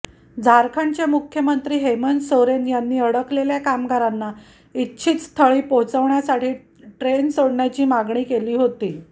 झारंखडचे मुख्यमंत्री हेमंत सोरेन यांनी अडकलेल्या कामगारांना इच्छित स्थळी पोहचवण्यासाठी ट्रेन सोडण्याची मागणी केली होती